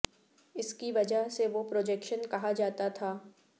اس کی وجہ سے وہ پروجیکشن کہا جاتا تھا